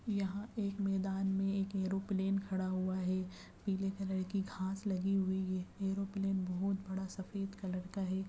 यहाँ मैदान में एक एरोप्लेन खड़ा हुआ है पिले कलर की घास लगी हुई है एरोप्लेन बहुत बड़ा सफ़ेद कलर का है।